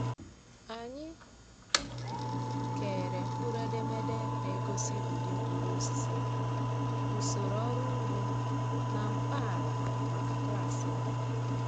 Anyị kere mkpụrụedemede na-egosi ụdị mkpụrụosisi, usoro ọrụ ugbo, na mkpa ala maka klaasị anyị.